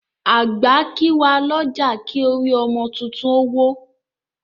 Àgbà kí wà lọ́jà, kí orí ọmọ títún ó wọ́